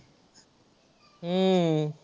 हम्म